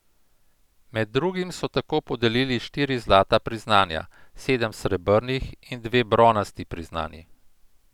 Med drugim so tako podelili štiri zlata priznanja, sedem srebrnih in dve bronasti priznanji.